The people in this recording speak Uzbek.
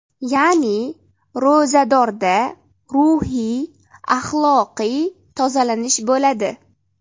Ya’ni, ro‘zadorda ruhiy axloqiy tozalanish bo‘ladi.